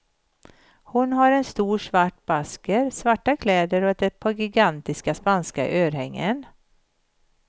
Hon har en stor svart basker, svarta kläder och ett par gigantiska spanska örhängen.